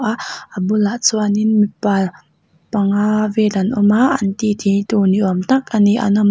a a bulah chuan in mipa panga vel an awm a an ti ti tur ni awm tak an ni an awmna--